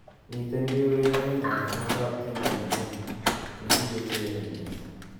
Miten keureren banganitikab tiendo nenyu nekakiureren mising'